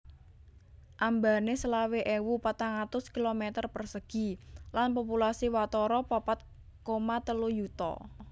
Ambané selawe ewu patang atus kilometer persegi lan populasi watara papat koma telu yuta